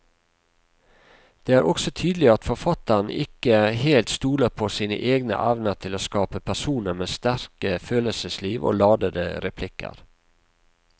Det er også tydelig at forfatteren ikke helt stoler på sine egne evner til å skape personer med sterke følelsesliv og ladete replikker.